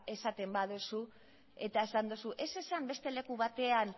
esaten baduzu eta esan dozu ez esan beste leku batean